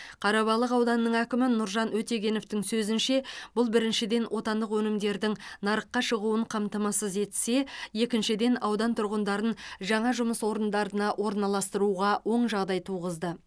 қарабалық ауданының әкімі нұржан өтегеновтің сөзінше бұл біріншіден отандық өнімдердің нарыққа шығуын қамтамасыз етсе екіншіден аудан тұрғындарын жаңа жұмыс орындарына орналастыруға оң жағдай туғызды